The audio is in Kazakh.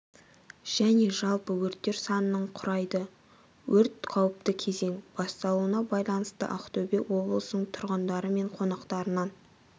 және жалпы өрттер санының құрайды өрт қауіпті кезең басталуына байланысты ақтөбе облысының тұрғындары мен қонақтарынан